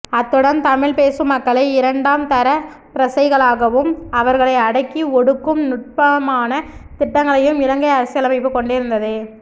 அத்துடன் தமிழ் பேசும் மக்களை இரண்டாம் தரப் பிரசைகளாகவும் அவர்களை அடக்கி ஒடுக்கும் நுட்பான திட்டங்களையும் இலங்கை அரசியலமைப்பு கொண்டிருந்தது